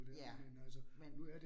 Ja, men